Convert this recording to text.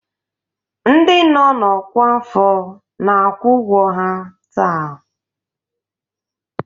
Ndị nọ na ọkwa afọ na-akwụ ụgwọ ha taa